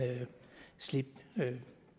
slippe